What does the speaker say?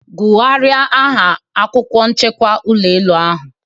Gwugharia aha akwukwo nchekwa ulọ elu ahu.